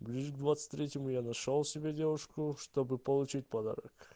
ближе к двадцать третьему я нашёл себе девушку чтобы получить подарок